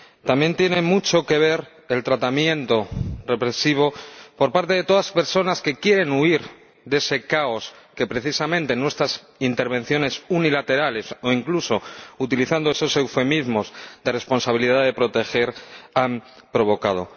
También tiene mucho que ver el tratamiento represivo de todas las personas que quieren huir de ese caos que precisamente nuestras intervenciones unilaterales —o incluso, utilizando esos eufemismos, de responsabilidad de proteger— han provocado.